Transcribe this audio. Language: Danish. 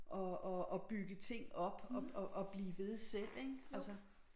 At at at bygge ting op og og og blive ved selv ik altså